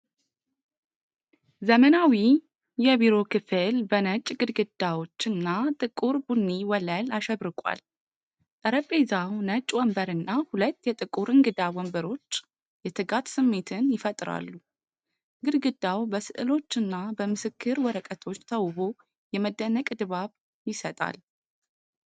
ዘመናዊ የቢሮ ክፍል በነጭ ግድግዳዎች እና ጥቁር ቡኒ ወለል አሸብርቋል። ጠረጴዛው፣ ነጭ ወንበር እና ሁለት የጥቁር እንግዳ ወንበሮች የትጋት ስሜትን ይፈጥራሉ። ግድግዳው በሥዕሎች እና በምስክር ወረቀቶች ተውቦ የመደነቅ ድባብ ይሰጣል።